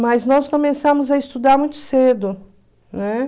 Mas nós começamos a estudar muito cedo, né?